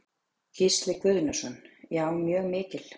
Gísli Guðnason: Já, mjög mikil?